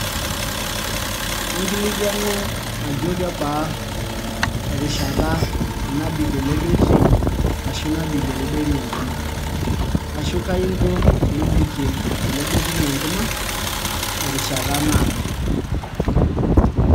Inkilikwanu ajo kebaa erishata nabik ele betri, ashu nabikie ele betri enkima. Ashu kai inko pebikie ele betri enkima, terishata naado.